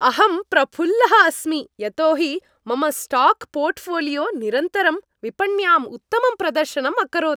अहं प्रफुल्लः अस्मि यतो हि मम स्टाक् पोर्ट्फ़ोलियो निरन्तरं विपण्याम् उत्तमं प्रदर्शनम् अकरोत्।